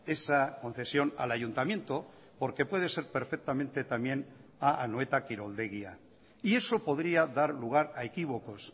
esa concesión al ayuntamiento porque puede ser perfectamente también a anoeta kiroldegia y eso podría dar lugar a equívocos